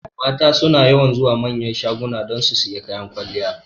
Mata suna yawan zuwa manyan shagunan don su sayi kayan kwalliya